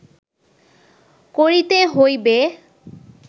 করিতে হইবে